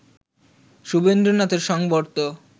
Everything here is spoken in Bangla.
সুধীন্দ্রনাথের সংবর্ত